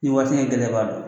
Ni waati ka gɛlɛ i b'a dɔn.